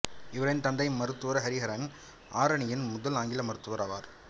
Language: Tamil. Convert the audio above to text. இவரின் தந்தை மருத்துவர் ஹரிஹரன் ஆரணியின் முதல் ஆங்கில மருத்துவர் ஆவார்